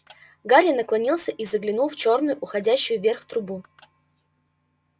гарри наклонился и заглянул в чёрную уходящую вверх трубу